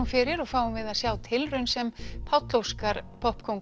fyrir og fáum við að sjá tilraun sem Páll Óskar